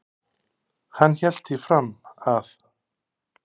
hann hélt því fram að